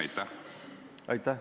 Aitäh!